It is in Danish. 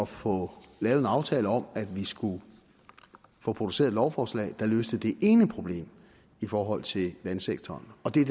få lavet en aftale om at vi skulle få produceret et lovforslag der løste det ene problem i forhold til vandsektoren det er